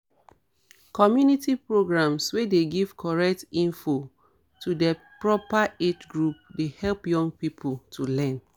community programs wey dey give correct info to di proper age group dey help young people to learn